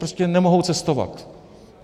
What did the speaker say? Prostě nemohou cestovat?